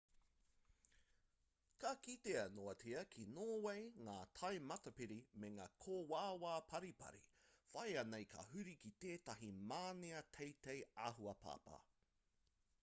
ka kitea noatia ki nōwei ngā tai matapari me ngā kōawaawa paripari whāia nei ka huri ki tētahi mānia teitei āhua papa